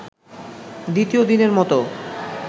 দ্বিতীয় দিনের মতো